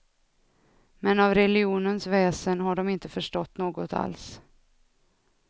Men av religionens väsen har de inte förstått något alls.